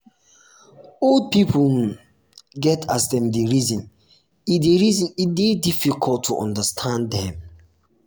old pipo um get um as dem dey reason e dey reason e dey difficult to understand um dem.